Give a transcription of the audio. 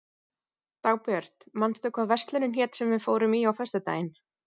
Dagbjörg, manstu hvað verslunin hét sem við fórum í á föstudaginn?